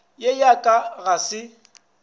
ye ya ka ga se